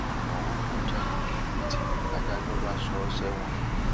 morufú jalè lẹkìtì ladájọ́ bá sọ ọ sẹwọn